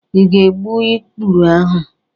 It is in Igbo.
Ị ga-egbu ikpuru ahụ?